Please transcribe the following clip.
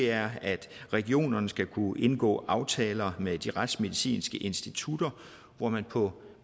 er at regionerne skal kunne indgå aftaler med de retsmedicinske institutter hvor man på